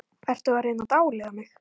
Ertu að reyna að dáleiða mig?